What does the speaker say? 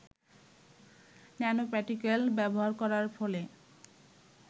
nano particle ব্যবহার করার ফলে